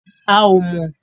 A ò mọ̀ o